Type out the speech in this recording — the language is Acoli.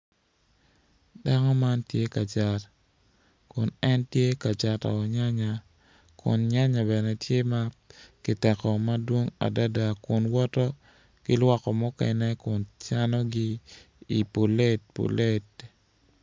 Dako man tye ka cat kun en tye kacato nyanya kun nyanya bene tye ma ki teko madwong adada kun woto ki lwokko mukene kun canogi i pulet pulet